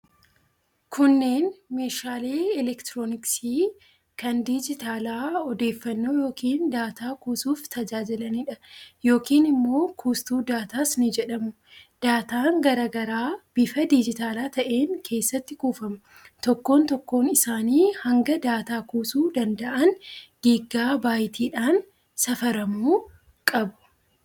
Kunneen meeshaalee elektirooniksii kan dijitaalaa odeeffannoo yookiin daataa kuusuuf tajaajilaniidha. Yookiin immoo kuustuu daataas ni jedhamu. Daataan garaa garaa bifa dijitaala ta'een keessatti kuufama. Tokkoon tokkoon isaanii hanga daataa kuusuu danda'an Giiggaa Baayitiidhaan safaramu qabu.